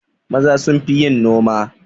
Maza sunfi yin noma